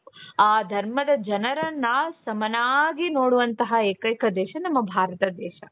ಆ ಧರ್ಮದ ಜನರನ್ನ ಸಮನಾಗಿ ನೋಡುವಂತ ಏಕೈಕ ದೇಶ ನಮ್ಮ ಭಾರತ ದೇಶ .